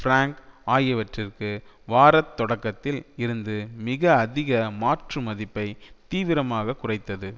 prank ஆகியவற்றிற்கு வார தொடக்கத்தில் இருந்து மிக அதிக மாற்று மதிப்பை தீவிரமாக குறைத்தது